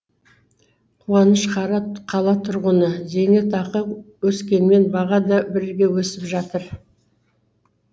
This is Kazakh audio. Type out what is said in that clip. қуаныш қара қала тұрғыны зейнетақы өскенімен баға да бірге өсіп жатыр